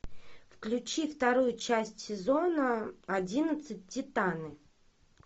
включи вторую часть сезона одиннадцать титаны